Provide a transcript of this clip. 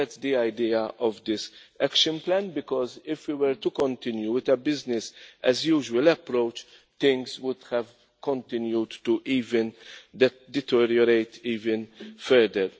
That is the idea of this action plan, because if we were to continue with a business as usual' approach, things would have continued to deteriorate even further.